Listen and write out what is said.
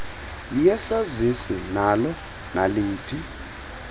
yesazisi nalo naliphi